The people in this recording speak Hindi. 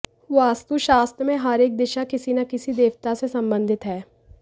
वस्तुशास्त्र में हर एक दिशा किसी ना किसी देवता से संबंधित है